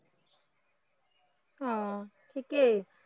অ ঠিকেই।